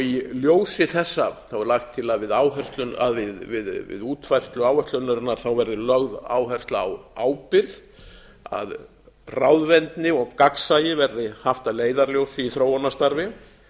í ljósi þessa er lagt til að við útfærslu áætlunarinnar verði lögð áhersla á ábyrgð að ráðvendni og gagnsæi verði haft að leiðarljósi í þróunarstarfi